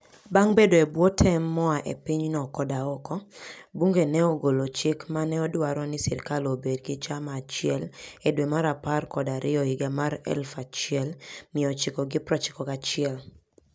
Bang' bedo e bwo tem moa e pinyno koda oko, bunge ne ogolo chik ma ne dwaro ni sirkal obed gi chama achiel e dwe mar apar kod ariyo higa 1991.